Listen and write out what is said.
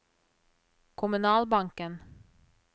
kommunalbanken